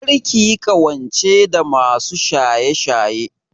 Kar ki yi ƙawance da masu shaye-shaye!